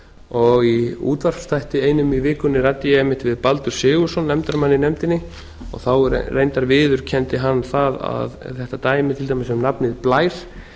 og í útvarpsþætti einum í vikunni ræddi ég einmitt við baldur sigurðsson nefndarmann í nefndinni og þá reyndar viðurkenndi hann það að þetta dæmi til dæmis um nafnið blær